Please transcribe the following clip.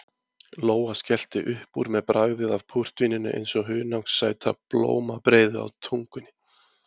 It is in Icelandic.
Lóa skellti upp úr með bragðið af púrtvíninu eins og hunangssæta blómabreiðu á tungunni.